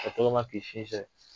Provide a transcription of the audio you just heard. Ka tɔgɔma k'i